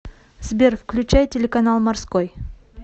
сбер включай телеканал морской